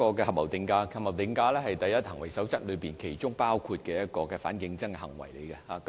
合謀定價是"第一行為守則"裏其中一項反競爭行為。